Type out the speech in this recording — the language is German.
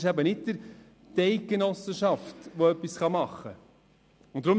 Es ist nicht die Eidgenossenschaft, die etwas machen kann.